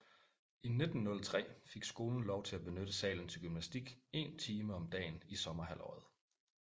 I 1903 fik skolen lov til at benytte salen til gymnastik 1 time om dagen i sommerhalvåret